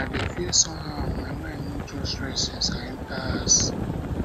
i dey feel somehow my mind no just rest since i enter house